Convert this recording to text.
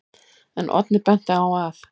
En Oddný benti á að: